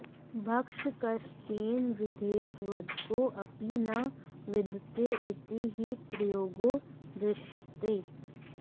भक्षकश्चेन्न विद्येत वधको ऽपि न विद्यते इति हि प्रयोगो दृश्यते